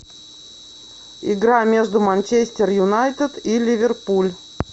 игра между манчестер юнайтед и ливерпуль